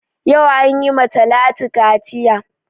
Yau an yi ma Talatu kaciya